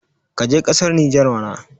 ka je kasar niger mana